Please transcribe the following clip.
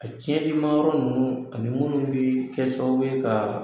A tiɲɛ dima yɔrɔ ninnu ani minnu bee kɛ sababu ye kaa